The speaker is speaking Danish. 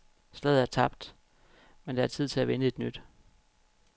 Slaget er tabt, men der er tid til at vinde et nyt.